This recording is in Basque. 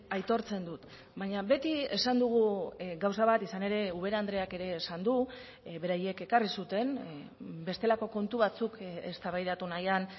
aitortzen dut baina beti esan dugu gauza bat izan ere ubera andreak ere esan du beraiek ekarri zuten bestelako kontu batzuk eztabaidatu nahian